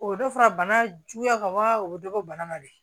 O bɛ dɔ fara bana juguya kan wa o bɛ dɔ bɔ bana ma dɛ